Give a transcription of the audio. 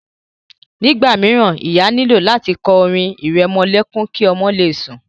Nígbà míràn, ìyá nílò láti kọ orin ìrẹmọlẹ́kún ki ọmọ le sùn.